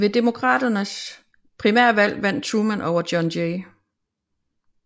Ved Demokraternes primærvalg vandt Truman over John J